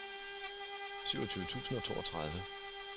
syvogtyve tusind og toogtredive